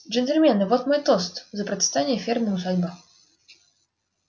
джентльмены вот мой тост за процветание фермы усадьба